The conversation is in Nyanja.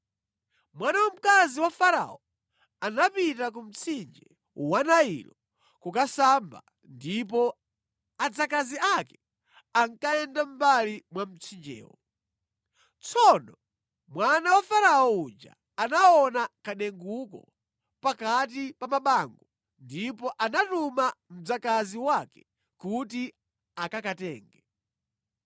Mwana wamkazi wa Farao anapita ku mtsinje wa Nailo kukasamba ndipo adzakazi ake ankayenda mʼmbali mwa mtsinjewo. Tsono mwana wa Farao uja anaona kadenguko pakati pa mabango ndipo anatuma mdzakazi wake kuti akakatenge.